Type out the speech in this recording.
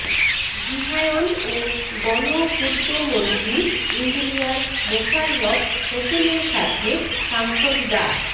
গৃহায়ণ ও গণপূর্তমন্ত্রী ইঞ্জিনিয়ার মোশাররফ হোসেনের সাথে সাংসদ ডা